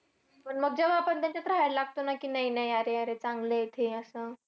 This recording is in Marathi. पण मग जेव्हा आपण त्यांच्यात राहायला लागतो ना की नाही-नाही अरे-अरे चांगलेत हे असं.